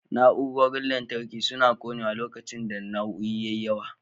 Na'urorin lantarki suna ƙonewa lokacin da nauyi ya yi yawa.